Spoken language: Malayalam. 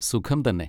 സുഖം തന്നെ.